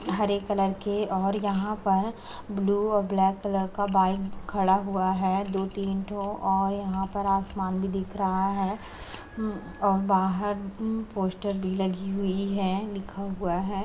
हरे colour के और यहाँ पर ब्लू और ब्लैक कलर का बाइक खड़ा हुआ है। दो-तीन ठो और यहाँ पर आसमान भी दिख रहा है और उम बाहर उम पोस्टर भी लगी हुई है लिखा हुआ है --